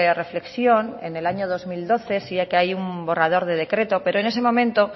reflexión en el año dos mil doce sí que hay un borrador de decreto pero en ese momento